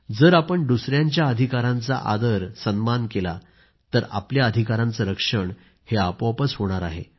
जर आपण दुसऱ्यांच्या अधिकारांचा आदर सन्मान केला तर आपल्या अधिकारांचे रक्षण आपोआपच होणार आहे